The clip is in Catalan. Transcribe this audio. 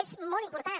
és molt important